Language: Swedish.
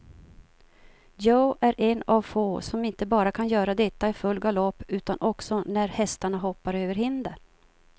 Joe är en av få, som inte bara kan göra detta i full galopp utan också när hästarna hoppar över hinder.